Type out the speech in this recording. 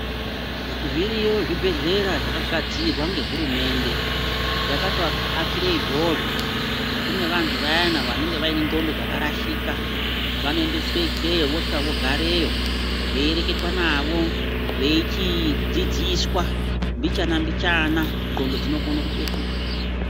Zviriyo zvibheya zvakagadzirwa ngehurumende yakatoakire izvozvo kuti kunevantu vayeni vanenga vainenclondo dzakarashika vanoendeswe ikweyo vosvika vogareyo veireketwa navo veichidzidziswa mbichana mbichana nclondo dzinokone kupetuka